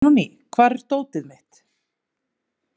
Benóný, hvar er dótið mitt?